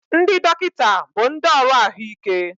Ndị dọkịta bụ ndị ọrụ ahụike